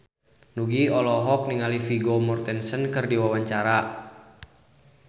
Nugie olohok ningali Vigo Mortensen keur diwawancara